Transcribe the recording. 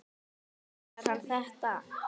Meinar hann þetta?